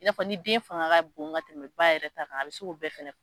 I n'a fɔ ni den fanga ka bon ka tɛmɛ ba yɛrɛ ta kan a bɛ se k'o bɛɛ fɛnɛ